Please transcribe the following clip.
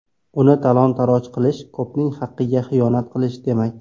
Uni talon-toroj qilish ko‘pning haqiga xiyonat qilish demak!